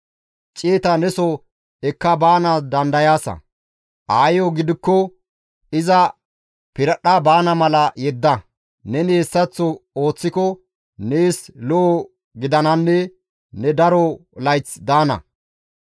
Ciyeta neso ekka baanaas dandayaasa; aayeyo gidikko iza piradhdha baana mala yedda; neni hessaththo ooththiko nees lo7o gidananne ne daro layth daana.